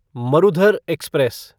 Marudhar express